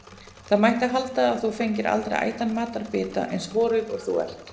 Það mætti halda að þú fengir aldrei ætan matarbita, eins horuð og þú ert.